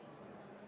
Hea ettekandja!